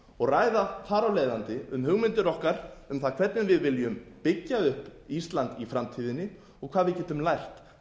og ræða þar af leiðandi um hugmyndir okkar um það hvernig við viljum byggja upp ísland í framtíðinni og hvað við getum lært